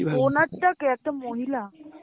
owner কে একটা মহিলা?